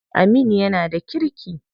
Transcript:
Aminu yana da kirki.